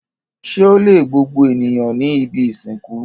Ṣé ó le gbogbo ènìyàn ní ibi-ìsìnkú?